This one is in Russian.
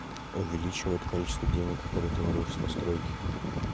увеличивает количество денег которые ты воруешь постройки